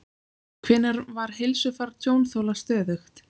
Hvenær var heilsufar tjónþola stöðugt?